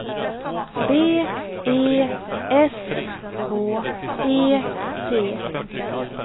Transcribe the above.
B E S K E D